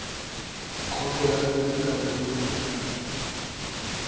khoto ya biri ka boholwanyane